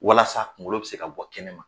Walasa kungolo bɛ se ka bɔ kɛnɛ ma.